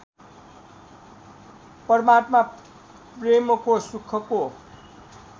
परमात्मा प्रेमको सुखको